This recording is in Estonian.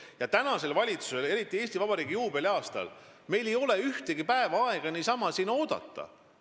Ja praegusel valitsusel ei ole aega ühtegi päeva niisama oodata, eriti veel Eesti Vabariigi juubeliaastal.